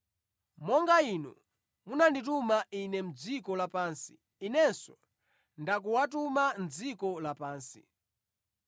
Monga Inu munandituma Ine mʼdziko lapansi, Inenso ndikuwatuma mʼdziko lapansi.